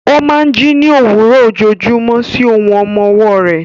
Ó máa ń jí ní òwúrọ̀ ojoojúmọ́ sí ohùn ọmọ ọwọ́ rẹ̀.